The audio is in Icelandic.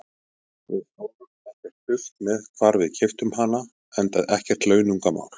Við fórum ekkert dult með hvar við keyptum hana, enda ekkert launungarmál.